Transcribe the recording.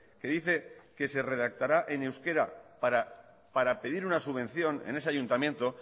que dice que se redactará en euskera para pedir una subvención en ese ayuntamiento